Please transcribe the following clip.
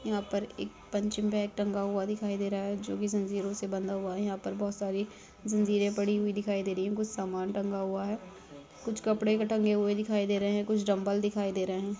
यहाँ पर एक पंचिंग बेग टंगा हुआ दिखाई दे रहा है जो की जंजीरों से बंधा हुआ है यहाँ पर बहुत सारी जंजीरें पड़ी हुई दिखाई दे रहें है कुछ सामान टंगा हुआ है कुछ कपडें टंगे हुए दिखाई दे रहे है कुछ डंबल दिखाई दे रहें है।